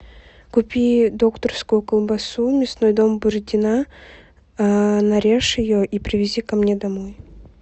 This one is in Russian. купи докторскую колбасу мясной дом бородина нарежь ее и привези ко мне домой